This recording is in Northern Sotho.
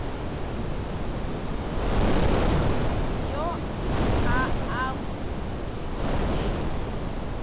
yo a a bo dirilego